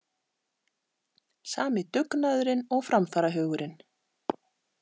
Sami dugnaðurinn og framfarahugurinn.